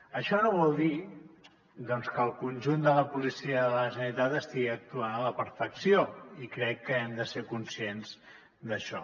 això no vol dir doncs que el conjunt de la policia de la generalitat estigui actuant a la perfecció i crec que hem de ser conscients d’això